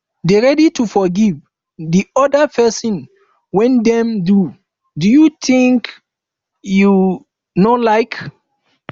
dey ready to forgive di oda person when dem do do you wetin you um no like